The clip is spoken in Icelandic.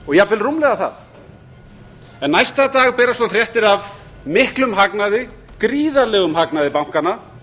og jafnvel rúmlega það en næsta dag berast svo fréttir af miklum hagnaði gríðarlegum hagnaði bankanna